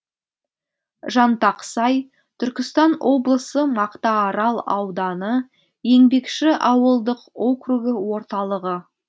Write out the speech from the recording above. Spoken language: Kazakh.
жантақсай түркістан облысы мақтаарал ауданы еңбекші ауылдық округі орталығы